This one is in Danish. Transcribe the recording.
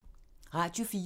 Radio 4